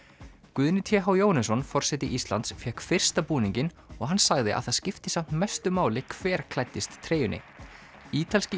Guðni t h Jóhannesson forseti Íslands fékk fyrsta búninginn og hann sagði að það skipti samt mestu máli hver klæddist treyjunni ítalski